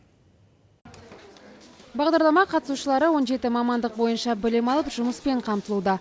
бағдарлама қатысушылары он жеті мамандық бойынша білім алып жұмыспен қамтылуда